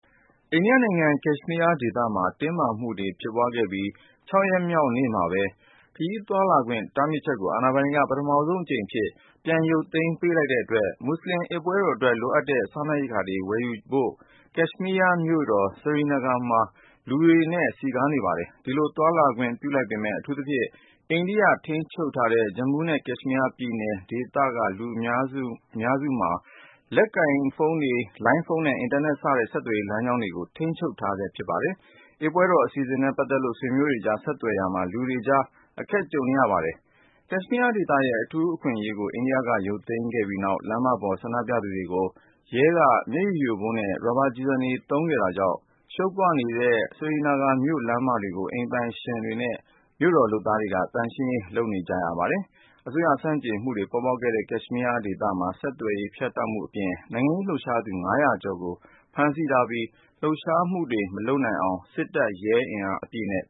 အိန္ဒိယနိုင်ငံ ကက်ရှ်မီးယားဒေသမှာ တင်းမာမှုတွေဖြစ်ပွားခဲ့ပြီး ၆-ရက်မြောက်နေ့မှာပဲ ခရီးသွားလာခွင့် တားမြစ်ချက်ကို အာဏာပိုင်တွေက ပထမဆုံးအကြိမ်အဖြစ် ပြန်ရုပ်သိမ်းပေးလိုက်တဲ့အတွက် မူဆလင် အစ်ပွဲတော်အတွက် လိုအပ်တဲ့ စားနပ်ရိက္ခာတွေကို ဝယ်ယူဖို့ ကက်ရှ်မီးယားရဲ့မြို့တော် Srinagar မှာ လူတွေနဲ့စည်းကားနေပါတယ်။ ဒီလိုသွားလာခွင့် ပြုလိုက်ပေမဲ့ အထူးသဖြင့် အိန္ဒိယထိန်းချုပ်ထားတဲ့ Jammu နဲ့ Kashmir ပြည်နယ် ဒေသအများစုမှာ လက်ကိုင်ဖိုင်း လိုင်းဖုန်းနဲ့ အင်တာနက် စတဲ့ ဆက်သွယ်ရေးလမ်းကြောင်းကိုတော့ ထိန်းချုပ် ထားဆဲဖြစ်ပါတယ်။ အစ်ပွဲတော် အစီစဉ်တွေနဲ့ပတ်သက်လို့ ဆွေးမျိုးတွေကြား ဆက်သွယ်ရာမှာ လူတွေ အတော်လေး အခက်ကြုံနေရပါတယ်။ ကက်ရှ်မီးယားဒေသရဲ့ အထူးအခွင့်အရေးကို အိန္ဒိယက ရုပ်သိမ်းခဲ့ပြီးနောက် လမ်းမတွေပေါ် ဆန္ဒပြသူတွေကို ရဲက မျက်ရည်ယိုဗုံးနဲ့ ရာဘာ ကျည်ဆံတွေသုံးခဲ့တာကြောင့် ရှုပ်ပွနေတဲ့ Srinagar မြို့လမ်းမတွေကို အိမ်ပိုင်ရှင်တွေနဲ့ မြို့တော်လုပ်သားတွေက သန့်ရှင်းရေးလုပ်ကြပါတယ်။ အစိုးရဆန့်ကျင်မှုတွေပေါ်ပေါက်နေတဲ့ ကက်ရှ်မီးယားဒေသမှာ ဆက်သွယ်ရေးဖြတ်တောက်မှုအပြင် နိုင်ငံရေးလှုပ်ရှားသူ (၅၀၀)ကျော်ကို ဖမ်းဆီးထားပြီး လှုပ်ရှားမှုတွေ မလုပ်နိုင်အောင် စစ်တပ်၊ ရဲအင်အားအပြည့်နဲ့